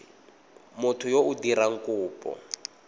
motho yo o dirang kopo